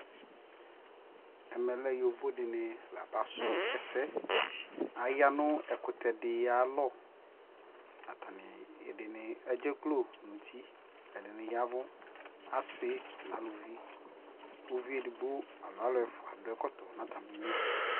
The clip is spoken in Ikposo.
Ɛmɛ lɛ yovo dι nι la basʋ ɛsɛ Aya nʋ ɛkutɛ dι ayʋ alɔ Atani ɛdini edzekplo nʋ uti, ɛdini yawu Asi nʋ alʋvi, kʋ uvi edigbo alo alʋ ɛfua dʋ ɛkɔtɔ nʋ atami lι